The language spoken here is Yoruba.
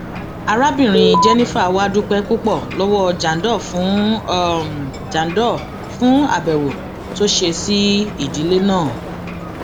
arábìnrin jennifer wàá dúpẹ púpọ lọwọ jandor fún jandor fún àbẹwò tó ṣe sí ìdílé náà